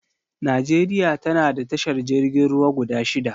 Najeriya tana da tashar jirgin ruwa guda shida